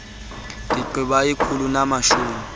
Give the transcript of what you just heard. ndigqiba ikhulu namashumi